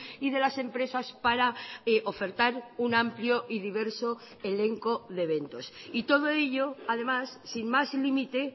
y de las empresas para ofertar un amplio y diverso elenco de eventos y todo ello además sin más límite